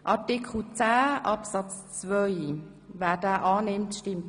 – Dies scheint der Fall zu sein.